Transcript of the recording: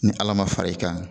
Ni Ala ma fara i kan